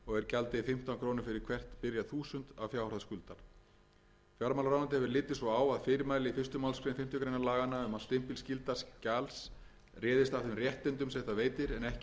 gjaldið fimmtán krónur fyrir hvert byrjað þúsund af fjárhæð skuldar fjármálaráðuneytið hefur litið svo á að fyrirmæli í fyrstu málsgrein fimmtu grein laganna um að stimpilskylda skjals réðist af þeim réttindum sem það veitir en ekki af nafni þess eða formi fæli í sér